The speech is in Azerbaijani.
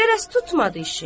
Qərəz tutmadı işi.